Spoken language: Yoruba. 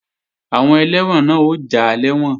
Àwọn ẹlẹ́wọ̀n náà ó já lẹ́wọ̀n